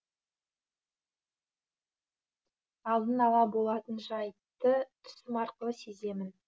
алдын ала болатын жайтты түсім арқылы сеземін